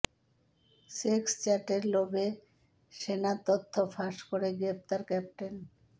sex চ্যাটের লোভে সেনার তথ্য ফাঁস করে গ্রেপ্তার ক্যাপ্টেন